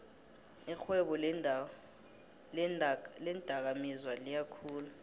irhwebo leendakamizwa liyakhula